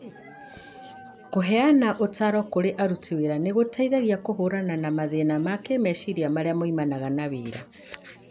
Kũheana ũtaaro kũrĩ aruti wĩra nĩ gũteithagia kũhũrana na mathĩna ma kĩĩmeciria marĩa moimanaga na wĩra.